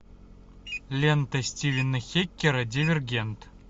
лента стивена хеккера дивергент